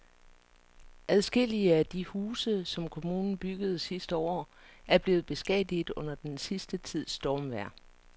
Adskillige af de huse, som kommunen byggede sidste år, er blevet beskadiget under den sidste tids stormvejr.